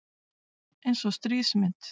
Eins og stríðsmynd